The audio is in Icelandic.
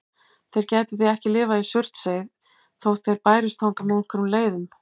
Þeir gætu því ekki lifað í Surtsey þótt þeir bærust þangað með einhverjum leiðum.